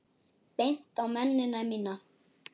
Bent á mennina mína.